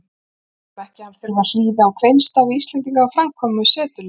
Við viljum ekki að hann þurfti að hlýða á kveinstafi Íslendinga um framkomu setuliðsins.